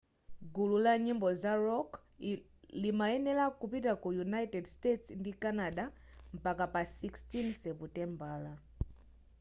gulu la nyimbo za rock limayenera kupita ku united states ndi canada mpaka pa 16 seputembala